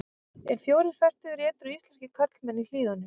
En fjórir fertugir edrú íslenskir karlmenn í Hlíðunum.